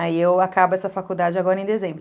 Aí eu acabo essa faculdade agora em dezembro.